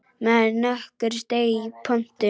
Maður nokkur steig í pontu.